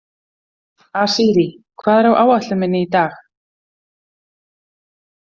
Asírí, hvað er á áætlun minni í dag?